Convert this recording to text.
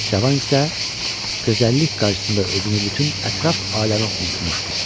Cavan isə gözəllik qarşısında özünü bütün ətraf aləmi unutmuşdu.